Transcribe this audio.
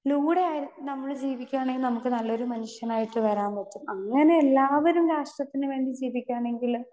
Speaker 2 നൂടെ ആയി നമ്മള് ജീവിക്കുകയാണെങ്കിൽ നമുക്ക് നല്ല ഒരു മനുഷ്യനായിട്ട് വരാൻ പറ്റും. അങ്ങനെ എല്ലാവരും രാഷ്ട്രത്തിന് വേണ്ടി ജീവിക്കാണെങ്കില്